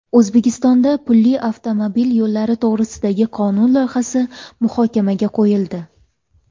O‘zbekistonda pulli avtomobil yo‘llari to‘g‘risidagi qonun loyihasi muhokamaga qo‘yildi.